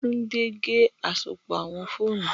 Tunde ge asopọ awọn foonu